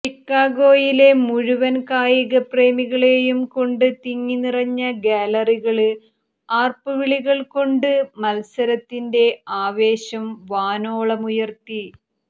ഷിക്കാഗോയിലെ മുഴുവന് കായിക പ്രേമികളേയുംകൊണ്ട് തിങ്ങിനിറഞ്ഞ ഗാലറികള് ആര്പ്പുവിളികള്കൊണ്ട് മത്സരത്തിന്റെ ആവേശം വാനോളമുയര്ത്തി